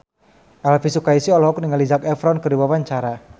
Elvi Sukaesih olohok ningali Zac Efron keur diwawancara